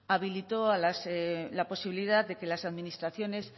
habilitó la posibilidad de que las administraciones